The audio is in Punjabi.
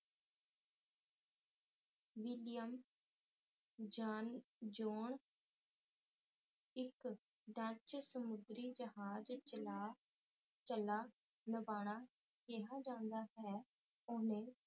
ਵਲੀਅਮ ਜਾਨਜ਼ਉਣ ਇੱਕ ਡਚ ਸਮੁੰਦਰੀ ਜਹਾਜ਼ ਚਲਾ ਚਲਾ ਨਵਾਲਾ ਕਿਆ ਜਾਂਦਾ ਏ ਉਹਨੇ